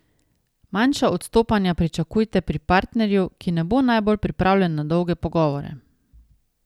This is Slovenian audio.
Manjša odstopanja pričakujte pri partnerju, ki ne bo najbolj pripravljen na dolge pogovore.